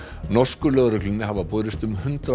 norsku lögreglunni hafa borist um hundrað